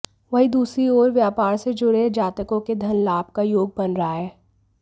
वहीं दूसरी ओर व्यापार से जुड़े जातकों के धन लाभ का योग बन रहा है